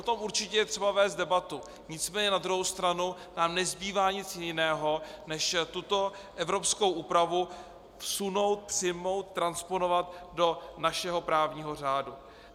O tom určitě je třeba vést debatu, nicméně na druhou stranu nám nezbývá nic jiného, než tuto evropskou úpravu vsunout, přijmout, transponovat do našeho právního řádu.